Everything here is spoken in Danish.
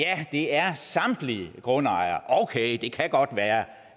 det er samtlige grundejere okay det kan godt være